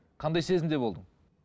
қандай сезімде болдың